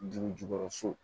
Dugu jukɔrɔ so